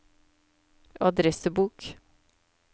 adressebok